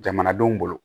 Jamanadenw bolo